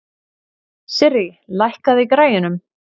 Sirrí, lækkaðu í græjunum.